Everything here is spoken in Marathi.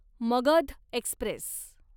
मगध एक्स्प्रेस